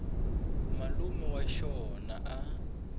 malume wa xona a a